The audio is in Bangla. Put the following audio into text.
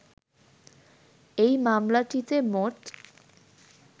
এই মামলাটিতে মোট